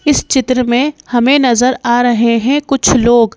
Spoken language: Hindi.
इस चित्र में हमें नजर आ रहे हैं कुछ लोग--